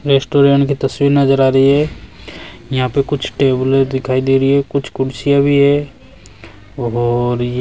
restaurant की तस्वीर नजर आ रही है यहां पे कुछ टेबले दिखाई दे रही है कुछ कुर्सीया भी है और ये--